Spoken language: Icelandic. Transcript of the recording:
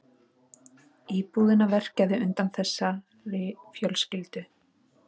Íbúðina verkjaði undan þessari fjölskyldu.